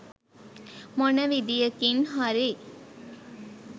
මොන විදියකින් හරි